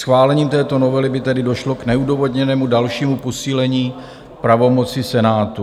Schválením této novely by tedy došlo k neodůvodněnému dalšímu posílení pravomoci Senátu.